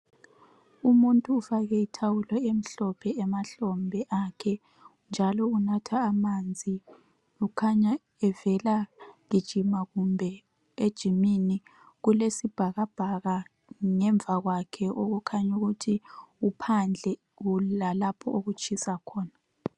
Umuntu ufake ithawulo emhlophe emahlombe akhe njalo unatha amanzi ukhanya evela gijima kumbe ejimini. Kulesibhakabhaka ngemva kwakhe okukhanyukuthi uphandle kulalapho okutshisa khona.